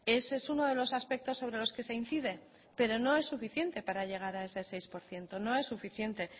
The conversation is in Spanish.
ese es uno de los aspectos sobre los que se incide pero no es suficiente para llegar a ese seis por ciento no es suficiente